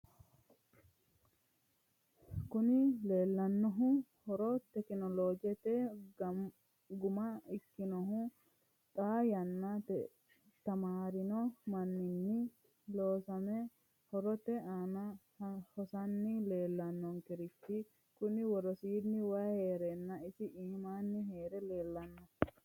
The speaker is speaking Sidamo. Kuni la'neemohu haro tekinologete guma ikkinohu xaa yanna tamaarino manninni losaame horote aana hosanni leellanonkerichi kuni worosiini way hereenna isi imaanni heere leellanno.